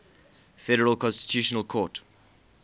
federal constitutional court